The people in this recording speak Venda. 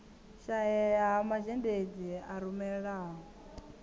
shaea ha mazhendedzi a rumelaho